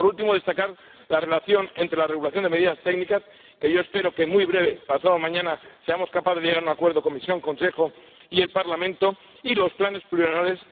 Por último, destacar la relación entre la regulación de medidas técnicas, que yo espero que muy pronto —pasado mañana— seamos capaces de llegar a un acuerdo la Comisión, el Consejo y el Parlamento, y los planes plurianuales.